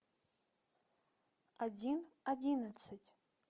один одиннадцать